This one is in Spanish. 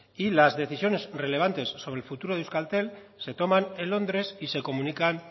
y las decisiones relevantes sobre el futuro de euskaltel se toman en londres y se comunican